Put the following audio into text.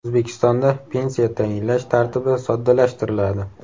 O‘zbekistonda pensiya tayinlash tartibi soddalashtiriladi.